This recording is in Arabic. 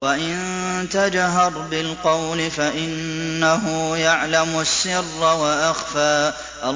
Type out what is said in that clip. وَإِن تَجْهَرْ بِالْقَوْلِ فَإِنَّهُ يَعْلَمُ السِّرَّ وَأَخْفَى